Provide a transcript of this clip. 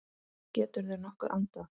Geturðu nokkuð andað?